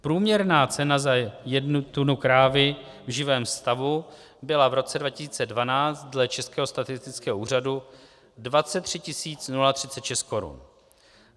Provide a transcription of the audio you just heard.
Průměrná cena za jednu tunu krávy v živém stavu byla v roce 2012 dle Českého statistického úřadu 23 036 korun.